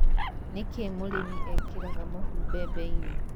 nĩ kĩĩ mũrĩmĩ ekĩraga mũhu bembeinĩ